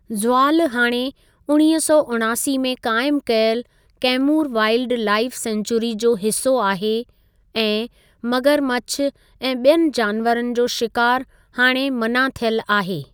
ज़वालु हाणे उणिवीह सौ उणासी में क़ाइमु कयल कैमूर वाइलड लाईफ़ सेंचूरी जो हिसो आहे ऐं मगरमछु ऐं ॿियनि जानवरनि जो शिकारु हाणे मना थियल आहे।